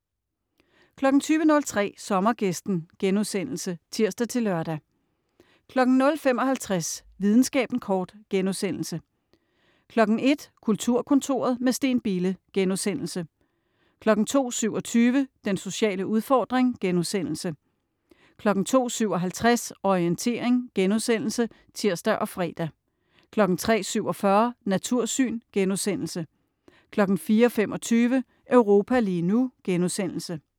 20.03 Sommergæsten* (tirs-lør) 00.55 Videnskaben kort* 01.00 Kulturkontoret - med Steen Bille* 02.27 Den sociale udfordring* 02.57 Orientering* (tirs og fre) 03.47 Natursyn* 04.25 Europa lige nu*